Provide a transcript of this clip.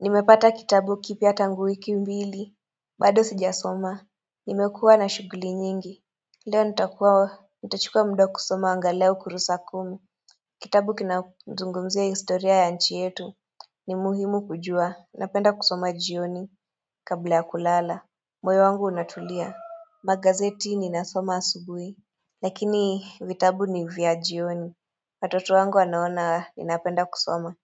Nimepata kitabu kipya tangu wiki mbili bado sijasoma Nimekuwa na shughuli nyingi Leo nitakuwa nitachukua muda kusoma angalao kurusa kumi Kitabu kinazungumzia historia ya nchi yetu ni muhimu kujua napenda kusoma jioni Kabla ya kulala moyo wangu unatulia Magazeti ninasoma asubuhi Lakini vitabu ni vya jioni watoto wangu wanaona ninapenda kusoma